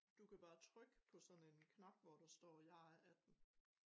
Du kan bare trykke på sådan en knap hvor der står jeg er 18